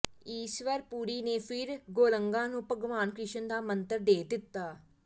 ਇੱਸਵਰ ਪੁਰੀ ਨੇ ਫਿਰ ਗੌਰੰਗਾ ਨੂੰ ਭਗਵਾਨ ਕ੍ਰਿਸ਼ਨ ਦਾ ਮੰਤਰ ਦੇ ਦਿੱਤਾ